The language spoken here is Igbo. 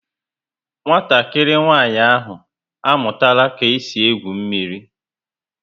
Nwatakịrị nwanyị ahụ amụtara ka e si egwu mmírí